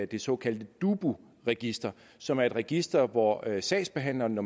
det såkaldte dubu register som er et register hvor sagsbehandleren når